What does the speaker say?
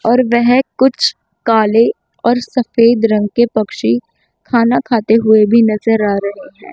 और वेह कुछ काले और सफेद रंग के पक्षी खाना खाते हुए भी नजर आ रहे हैं।